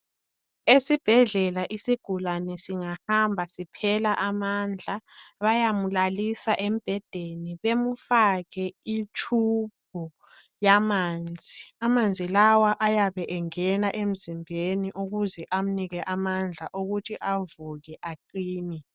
Esibhedlela isigulane singahamba siphela amandla .Bayamulalisa embhedeni ,bamufake itshubhu yamanzi. Amanzi lawa ayabe engena emzimbeni ,ukuze amnike amandla okuthi avuke aqine.